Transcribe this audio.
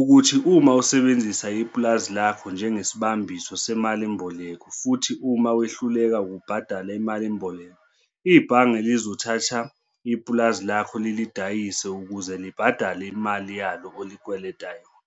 ukuthi uma usebenzisa ipulazi lakho njengesibambiso semalimboleko futhi uma wehluleka ukubhadala imalimboleko, ibhange lizolithatha ipulazi lakho lilidayise ukuze libhadale imali yalo olikweleta yona.